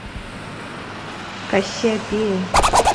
кассиопея